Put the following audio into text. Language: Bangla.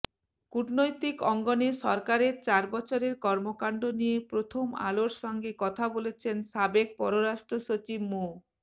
কূটনৈতিক অঙ্গনে সরকারের চার বছরের কর্মকাণ্ড নিয়ে প্রথমআলোর সঙ্গে কথা বলেছেন সাবেক পররাষ্ট্রসচিব মো